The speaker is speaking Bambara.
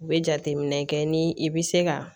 U bɛ jateminɛ kɛ ni i bɛ se ka